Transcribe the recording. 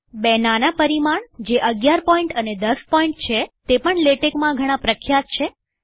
બે નાના પરિમાણ જે ૧૧pt અને ૧૦pt છેતે પણ લેટેક્માં ઘણા પ્રખ્યાત છે